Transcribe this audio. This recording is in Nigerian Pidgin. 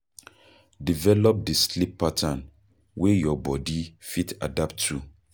Develop di sleep pattern wey your bodi fit adapt to